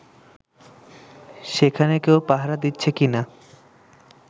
সেখানে কেউ পাহারা দিচ্ছে কিনা